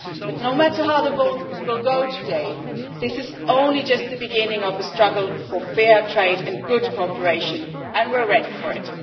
But no matter how the vote goes today, this is only the beginning of a struggle for fair trade and good cooperation, and we are ready for it.